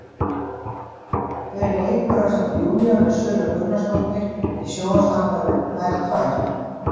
Hver leikur ásamt Júlíönu Söru Gunnarsdóttir í sjónvarpsþáttunum, Þær tvær?